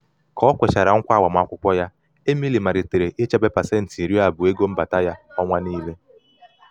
ka o kwechara nkwa agbamakwukwọ ya emily malitere ichebe pasenti iri abụọ ego mbata ya ọnwa niile.